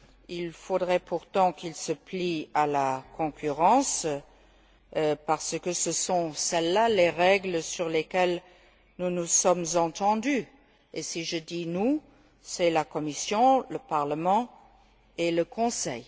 Il faudrait pourtant qu'ils se plient à la concurrence parce que ce sont là les règles sur lesquelles nous nous sommes entendus et par nous, j'entends la Commission, le Parlement et le Conseil.